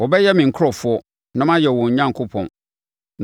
Wɔbɛyɛ me nkurɔfoɔ, na mayɛ wɔn Onyankopɔn.